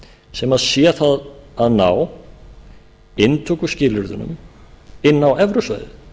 sem sé það að ná inntökuskilyrðunum inn á evrusvæðið